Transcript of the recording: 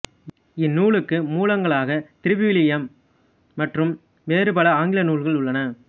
இந்நூலுக்கு மூலங்களாக திருவிவிலியம் மற்றும் வேறுபல ஆங்கில நூல்கள் உள்ளன